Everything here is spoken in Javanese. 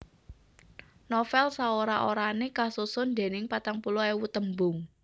Novèl saora orané kasusun dèning patang puluh ewu tembung